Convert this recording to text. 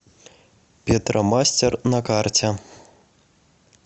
петромастер на карте